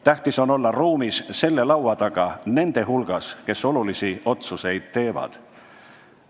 Tähtis on olla ruumis laua taga nende hulgas, kes olulisi otsuseid teevad.